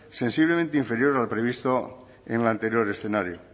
ser sensiblemente inferior al previsto en el anterior escenario